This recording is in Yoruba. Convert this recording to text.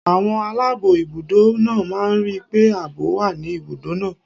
Àwọn aláàbọ̀ ibùdó náà máa ń rí pé ààbò wà ní ibùdó náà.